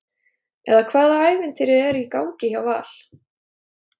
eða hvaða ævintýri er í gangi hjá Val?